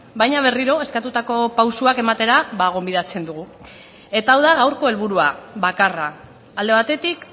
baina berriro eskatutako pausuak ematera ba gonbidatzen dugu eta hau da gaurko helburua bakarra alde batetik